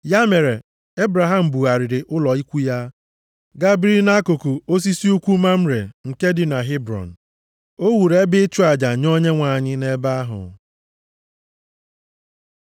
Ya mere, Ebram bugharịrị ụlọ ikwu ya, gaa biri nʼakụkụ osisi ukwu Mamre nke dị na Hebrọn. O wuru ebe ịchụ aja nye Onyenwe anyị nʼebe ahụ.